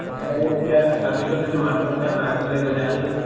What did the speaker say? তাৰপিছত যে তাৰপিছত যদি মাষ্টৰ যদি আমাৰ আগপিনে গৈছে আমি